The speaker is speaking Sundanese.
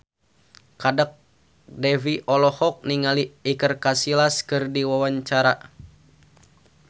Kadek Devi olohok ningali Iker Casillas keur diwawancara